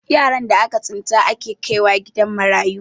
yaran da aka tsinta ake kaiwa gidan marayu